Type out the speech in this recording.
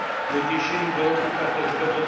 w odniesieniu do roku kalendarzowego